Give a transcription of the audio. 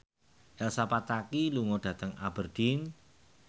Elsa Pataky lunga dhateng Aberdeen